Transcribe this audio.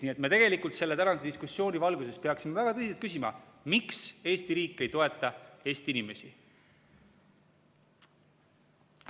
Nii et me tegelikult selle tänase diskussiooni valguses peaksime väga tõsiselt küsima, miks Eesti riik ei toeta Eesti inimesi.